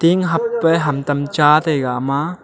tink habpa hamtam cha taiga ama.